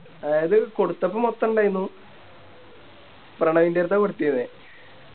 അതായത് കൊടുത്തപ്പോ മൊത്തം ഇണ്ടായിന്നു പ്രണവിൻറെടുത്ത കൊടുത്തിന്നെ